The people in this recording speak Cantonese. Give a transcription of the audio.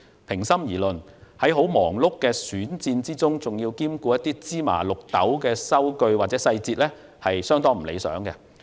平心而論，在十分忙碌的選戰中，還要兼顧芝麻綠豆的收據或細節，是相當不理想的。